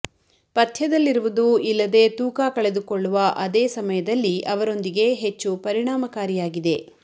ಪಥ್ಯದಲ್ಲಿರುವುದು ಇಲ್ಲದೆ ತೂಕ ಕಳೆದುಕೊಳ್ಳುವ ಅದೇ ಸಮಯದಲ್ಲಿ ಅವರೊಂದಿಗೆ ಹೆಚ್ಚು ಪರಿಣಾಮಕಾರಿಯಾಗಿದೆ